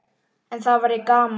En það væri gaman.